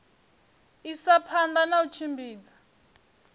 isa phanda na u tshimbidza